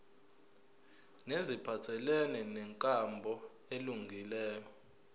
neziphathelene nenkambo elungileyo